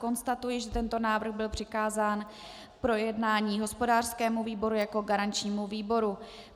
Konstatuji, že tento návrh byl přikázán k projednání hospodářskému výboru jako garančnímu výboru.